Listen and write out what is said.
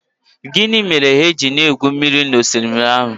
Gịnị mere ha ji na-egwu mmiri n'osimiri ahụ?